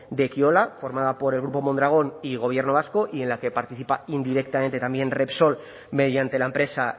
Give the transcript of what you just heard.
de ekiola formada por el grupo mondragon y gobierno vasco y en la que participa indirectamente también repsol mediante la empresa